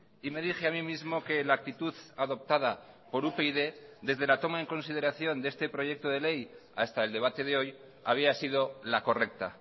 y me dije a mí mismo que la actitud adoptada por upyd desde la toma en consideración de este proyecto de ley hasta el debate de hoy había sido la correcta